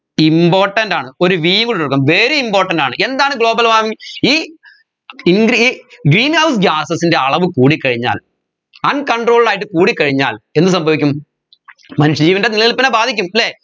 important ആണ് ഒരു v ഇട്ടുകൊടുക്കാം very important ആണ് എന്താണ് global warming ഈ ഇങ്ക്രി greenhouse gases ൻറെ അളവ് കൂടിക്കഴിഞ്ഞാൽ uncontrolled ആയിട്ട് കൂടിക്കഴിഞ്ഞാൽ എന്ത് സംഭവിക്കും മനുഷ്യ ജീവൻെറ നിലനില്പിനെ ബാധിക്കും അല്ലെ